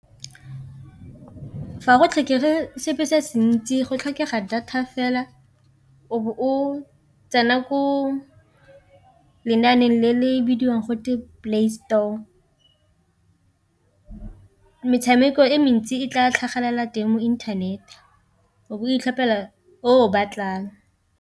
Fa go tlhokege sepe se a se ntsi go tlhokega data fela o bo o tsena ko lenaaneng le le bidiwang gote play store, metshameko e mentsi e tla tlhagelela teng mo internet o bo itlhophela o o batlang.